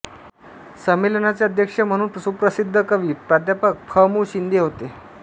संमेलनाचे अध्यक्ष म्हणून सुप्रसिद्ध कवी प्रा फ मुं शिंदे होते